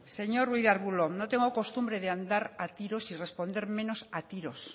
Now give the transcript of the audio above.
señor ruiz de arbulo no tengo costumbre de andar a tiros y responder menos a tiros